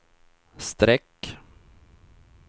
streck